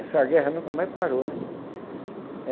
Essa guerra nunca mais parou, né?